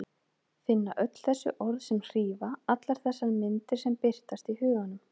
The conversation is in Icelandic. Finna öll þessi orð sem hrífa, allar þessar myndir sem birtast í huganum.